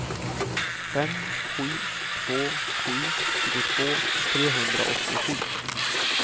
fem sju två sju tjugotvå trehundraåttiosju